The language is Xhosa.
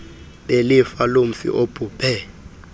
belifa lomfi obhubhe